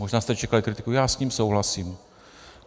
Možná jste čekali kritiku, já s ním souhlasím.